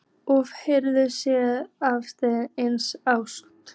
Úff, hefurðu séð aðra eins ást?